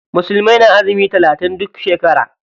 Musulmai na azumi talatin duk shekara.